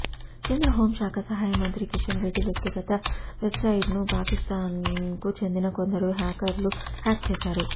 కేంద్ర హోంశాఖ సహాయ మంత్రి కిషన్ రెడ్డి వ్యక్తిగత వెబ్సైట్ను పాకిస్తాన్కు చెందిన కొందరు హ్యాకర్లు హ్యాక్ చేశారు